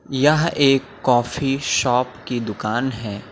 यह एक काफी शॉप की दुकान है।